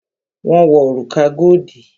Wọn wo òrùka godi